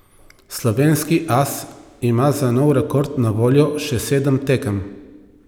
Slovenski as ima za nov rekord na voljo še sedem tekem.